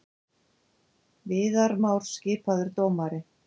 Viðar Már skipaður dómari